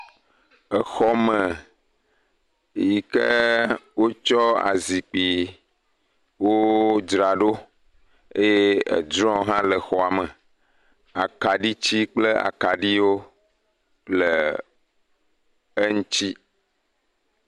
Exɔ me yike wotsɔ azikpuiwo dzra ɖo eye edrɔwo hã le xɔa me, akaɖiti kple akaɖiwo le eŋti.